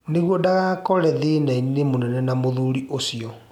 Nĩguo ndagekore thĩnainĩ mũnene na mũthuri ũcio.